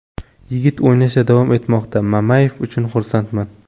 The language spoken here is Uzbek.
Yigitlar o‘ynashda davom etmoqda Mamayev uchun xursandman.